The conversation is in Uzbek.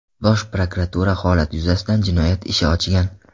Bosh prokuratura holat yuzasidan jinoyat ishi ochgan .